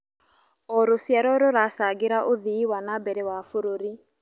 O rũciaro rũracangĩra ũthii wa na mbere wa bũrũri.